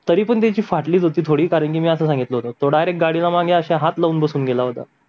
तरी पन त्याची फाटलीच होती थोडी कारण मी असं सांगितल्यावर तो डायरेक्ट गाडीला मागे हात लावून बसून गेला होता